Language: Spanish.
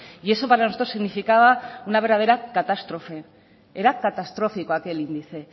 y eso para nosotros significaba una verdadera catástrofe era catastrófico aquel índice